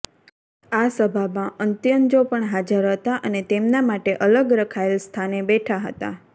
આ સભામાં અંત્યજો પણ હાજર હતા અને તેમના માટે અલગ રખાયેલ સ્થાને બેઠા હતા